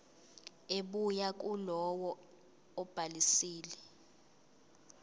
ebuya kulowo obhalisile